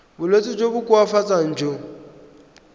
bolwetsi jo bo koafatsang jo